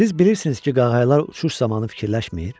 Siz bilirsiniz ki, qağayalar uçuş zamanı fikirləşmir?